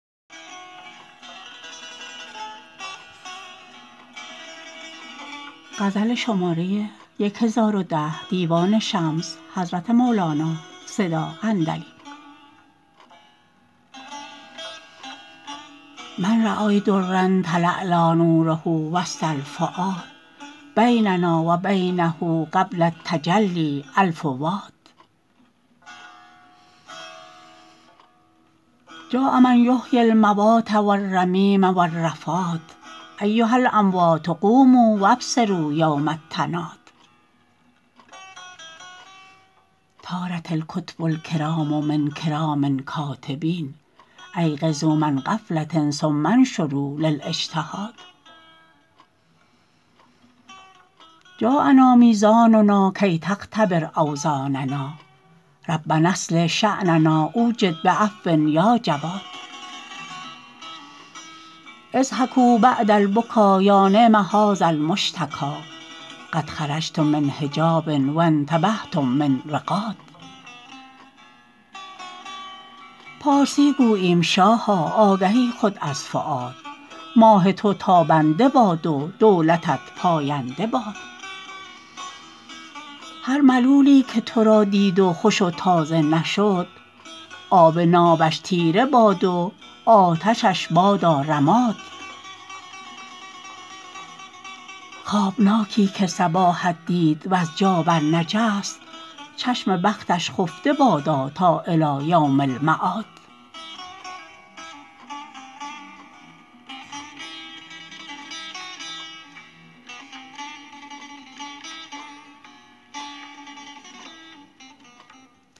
من رای درا تلالا نوره وسط الفؤاد بیننا و بینه قبل التجلی الف واد جاء من یحیی الموات و الرمیم و الرفات ایها الاموات قوموا و ابصروا یوم التناد طارت الکتب الکرام من کرام کاتبین ایقظوا من غفله ثم انشروا للاجتهاد جاءنا میزاننا کی تختبر اوزاننا ربنا اصلح شأننا أو جد بعفو یا جواد اضحکوا بعد البکا یا نعم هذ المشتکا قد خرجتم من حجاب و انتبهتم من رقاد پارسی گوییم شاها آگهی خود از فؤاد ماه تو تابنده باد و دولتت پاینده باد هر ملولی که تو را دید و خوش و تازه نشد آب نابش تیره باد و آتشش بادا رماد خوابناکی که صباحت دید وز جا برنجست چشم بختش خفته بادا تا الی یوم المعاد